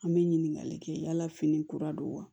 An bɛ ɲininkali kɛ yala fini kura don wa